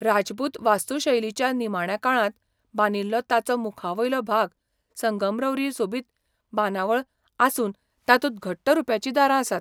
राजपूत वास्तुशैलीच्या निमाण्या काळांत बांदिल्लो ताचो मुखावयलो भाग संगमरवरी सोबीत बांदावळ आसून तातूंत घट्ट रुप्याचीं दारां आसात.